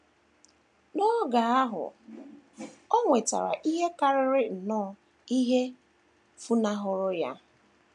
N’oge ahụ, o nwetara ihe karịrị nnọọ ihe funahụworo ya.